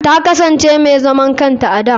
Ta kasance mai zaman kanta a da.